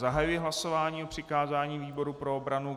Zahajuji hlasování o přikázání výboru pro obranu.